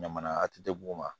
Ɲaman a tɛ bugun wa